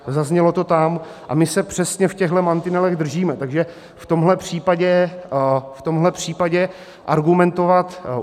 Zaznělo to tam a my se přesně v těchhle mantinelech držíme, takže v tomhle případě argumentovat